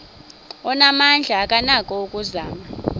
onamandla akanako ukuzama